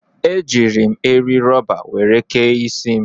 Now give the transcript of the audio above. Ejiiri m eri rọba were kee isi m.